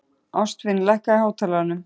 Ástvin, lækkaðu í hátalaranum.